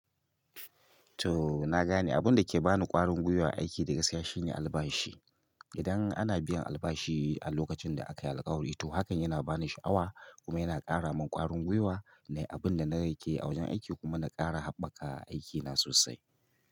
To na gane abun dake bani ƙwarin gwiwa aiki da gaskiya shine albashi. Idan ana biyan albashi a lokacin da aka yi alkawari to hakan yana bani sha'awa kuma yana ƙara min ƙwarin gwiwa. Nei abin da na riƙe a wajen aiki kuma na ƙara haɓaka aikina sosai.